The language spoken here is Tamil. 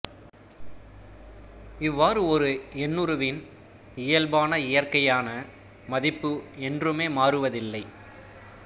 இவ்வாறு ஒரு எண்ணுருவின் இயல்பான இயற்கையான மதிப்பு என்றுமே மாறுவதில்லை